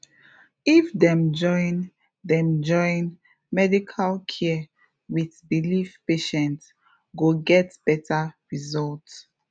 if dem join dem join medical care with belief patient go get better result